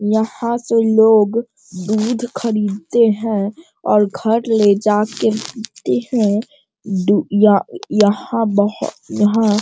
यहाँ से लोग दूध खरीदते हैं और घर ले जाके पीते हैं | दू यह यहाँ बहु यहाँ।